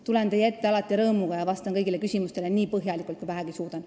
Tulen teie ette alati rõõmuga ja vastan kõigile küsimustele nii põhjalikult, kui vähegi suudan.